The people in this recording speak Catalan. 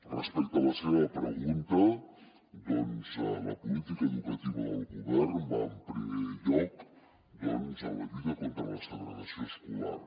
respecte a la seva pregunta doncs la política educativa del govern va en primer lloc en la lluita contra la segregació escolar